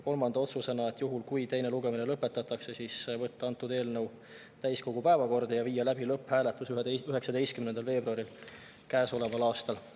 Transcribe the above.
Kolmas otsus: juhul kui teine lugemine lõpetatakse, võtta eelnõu täiskogu päevakorda ja viia läbi lõpphääletus 19. veebruaril käesoleval aastal.